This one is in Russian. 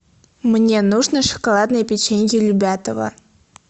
мне нужно шоколадное печенье любятово